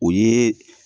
O ye